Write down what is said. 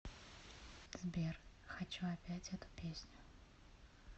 сбер хочу опять эту песню